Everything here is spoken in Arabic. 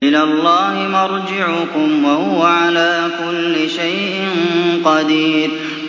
إِلَى اللَّهِ مَرْجِعُكُمْ ۖ وَهُوَ عَلَىٰ كُلِّ شَيْءٍ قَدِيرٌ